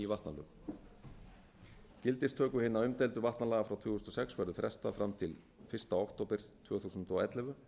ný vatnalög gildistöku hinna umdeildu vatnalaga frá tvö þúsund og sex verður frestað fram til fyrsta október tvö þúsund og ellefu